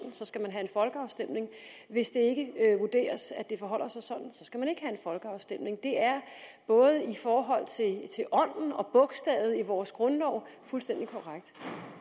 folkeafstemning hvis det ikke vurderes at det forholder sig sådan skal man ikke have folkeafstemning det er både i forhold til ånden og bogstavet i vores grundlov fuldstændig korrekt